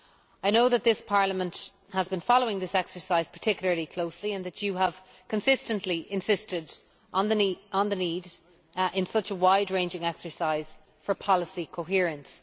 I know that this Parliament has been following this exercise particularly closely, and that it has consistently insisted on the need, in such a wide ranging exercise, for policy coherence.